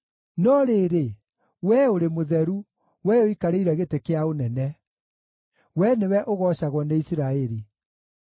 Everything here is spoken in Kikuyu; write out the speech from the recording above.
No rĩrĩ, Wee ũrĩ Mũtheru, Wee ũikarĩire gĩtĩ kĩa ũnene; Wee nĩwe ũgoocagwo nĩ Isiraeli.